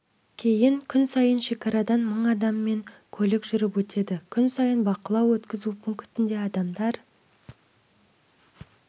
кейін күн сайын шекарадан мың адам мен көлік жүріп өтеді күн сайын бақылау-өткізу пунктінде адамдар